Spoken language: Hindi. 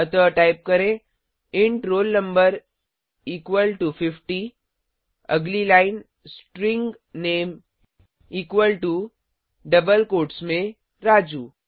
अतः टाइप करें int roll no equal to 50 अगली line string name equal to double quotes में राजू